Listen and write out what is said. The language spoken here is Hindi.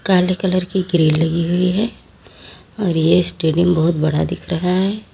काली कलर की ग्रील लगी हुई है और ये स्टेडियम बहुत बड़ा दिख रहा है।